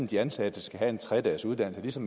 de ansatte skal have en tre dagesuddannelse